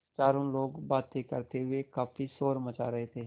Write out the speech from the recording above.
चारों लोग बातें करते हुए काफ़ी शोर मचा रहे थे